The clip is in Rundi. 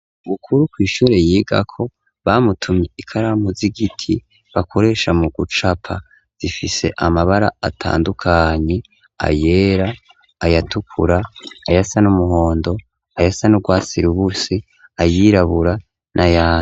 Bukuru kw'ishure yigako bamutumye ikaramu z'igiti bakoresha mu gucapa zifise amabara atandukanye ayera , ayatukura, ayasa n'umuhondo, ayasa n'urwatsi rubusi ,ayirabura n'ayandi.